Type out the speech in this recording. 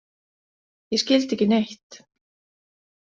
Ég skildi ekki neitt.